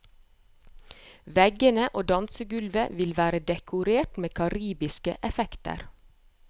Veggene og dansegulvet vil være dekorert med karibiske effekter.